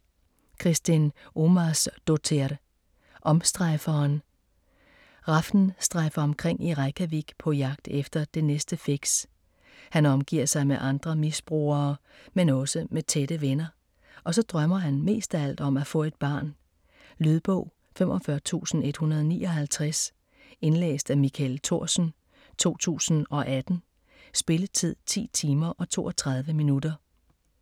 Kristín Ómarsdóttir: Omstrejferen Hrafn strejfer omkring i Reykjavik på jagt efter det næste fix. Han omgiver sig med andre misbrugere men også med tætte venner. Og så drømmer han mest af alt om at få et barn. Lydbog 45159 Indlæst af Michael Thorsen, 2018. Spilletid: 10 timer, 32 minutter.